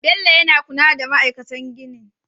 Bello yana kula da ma'aikatan ginin